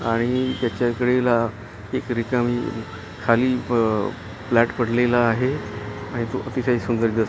आणि त्याच्या कडेला एक रिकामी खाली प फ्लॅट पडलेला आहे आणि तो अतिशय सुंदर दिस --